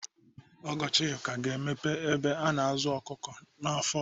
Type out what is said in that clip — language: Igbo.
Ọgọ Chika ga-emepe ụlọ ebe a na-azụ ọkụkọ afọ ọzọ.